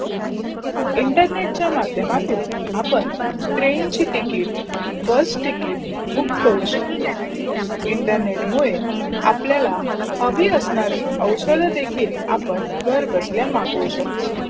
internet चा मधयम आतून आपण ट्रेन ची तिकीट, बस तिकीट बुक करू शकतो. internet मुडे आपलायला हवी असणारी औषध देखील आपण घर बसला मागवू शकतो.